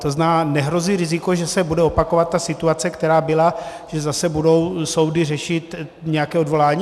To znamená, nehrozí riziko, že se bude opakovat ta situace, která byla, že zase budou soudy řešit nějaké odvolání?